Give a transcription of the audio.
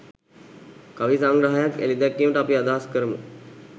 කවි සංග්‍රහයක් එළිදැක්වීමට අපි අදහස් කරමු